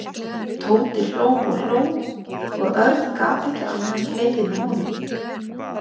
Tóti hló og hló og Örn gat ekki annað en hlegið með honum.